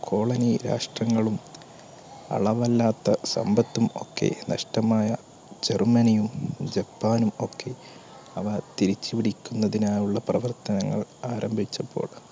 colonie രാഷ്ട്രങ്ങളും അളവല്ലാത്ത സമ്പത്തും ഒക്കെ നഷ്ടമായ ജർമ്മനിയും, ജപ്പാനും ഒക്കെ അവ തിരിച്ചുപിടിക്കുന്നതിനായുള്ള പ്രവർത്തനങ്ങൾ ആരംഭിച്ചപ്പോൾ,